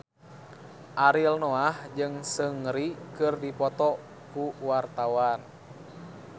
Ariel Noah jeung Seungri keur dipoto ku wartawan